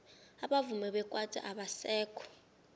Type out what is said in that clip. abavumi bekwaito abasekho